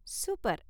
Super!